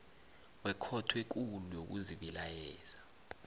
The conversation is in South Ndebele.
wekhotho ekulu yokuzibilayeza